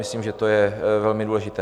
Myslím, že to je velmi důležité.